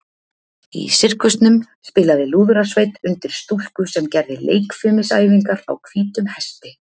Í sirkusnum spilaði lúðrasveit undir stúlku sem gerði leikfimisæfingar á hvítum hesti.